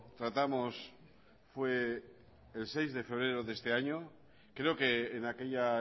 tratamos fue el seis de febrero de este año creo que en aquella